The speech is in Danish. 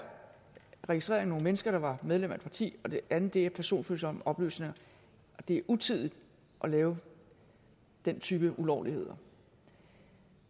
registrering af nogle mennesker der var medlem af et parti og det andet er personfølsomme oplysninger og det er utidigt at lave den type ulovligheder